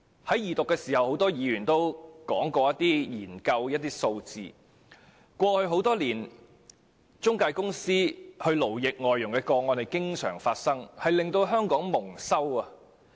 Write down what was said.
在二讀時很多議員均提到一些研究數字，指出過去多年來，中介公司勞役外傭的個案時有發生，令香港蒙羞。